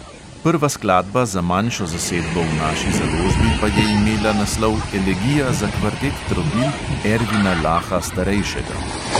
Prva skladba za manjšo zasedbo v naši založbi pa je imela naslov elegija za kvartet trobil ervina laha starejšega.